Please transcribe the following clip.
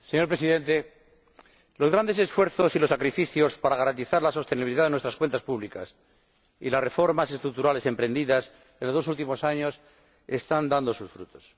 Señor Presidente, los grandes esfuerzos y los sacrificios para garantizar la sostenibilidad de nuestras cuentas públicas y las reformas estructurales emprendidas en los dos últimos años están dando sus frutos.